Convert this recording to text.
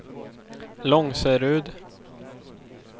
Långserud